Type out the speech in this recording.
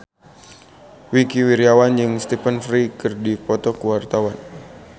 Wingky Wiryawan jeung Stephen Fry keur dipoto ku wartawan